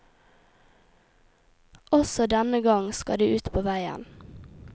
Også denne gang skal de ut på veien.